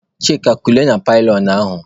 Chika kulie na pilionụ ahụ!